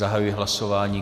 Zahajuji hlasování.